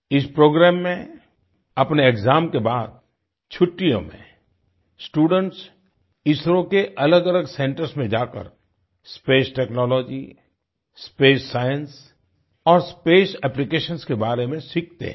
इस प्रोग्राम में अपने एक्साम के बाद छुट्टियों में स्टूडेंट्स इसरो के अलगअलग सेंटर्स में जाकर स्पेस टेक्नोलॉजी स्पेस साइंस और स्पेस एप्लिकेशंस के बारे में सीखते हैं